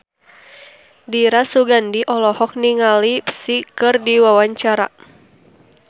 Dira Sugandi olohok ningali Psy keur diwawancara